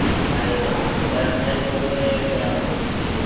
આમ વધારે ફાયદો પડે ક આમ પછી